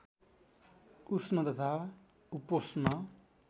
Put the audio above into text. उष्ण तथा उपोष्ण